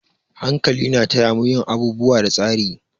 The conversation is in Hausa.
Hankali na taya mu yin abubuwa da tsari.